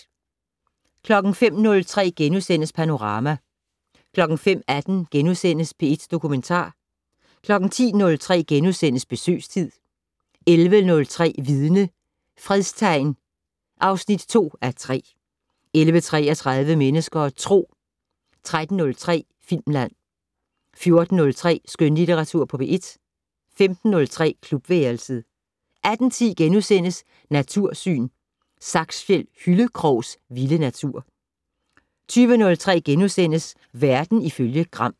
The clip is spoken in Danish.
05:03: Panorama * 05:18: P1 Dokumentar * 10:03: Besøgstid 11:03: Vidne - Fredstegn (2:3) 11:33: Mennesker og Tro 13:03: Filmland 14:03: Skønlitteratur på P1 15:03: Klubværelset 18:10: Natursyn: Saksfjed-Hyllekrogs vilde natur * 20:03: Verden ifølge Gram *